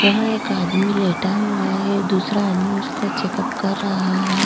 यह एक आदमी लेटा हुआ है दूसरा आदमी उसका चेक-अप कर रहा है।